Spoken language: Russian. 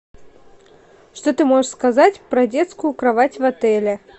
что ты можешь сказать про детскую кровать в отеле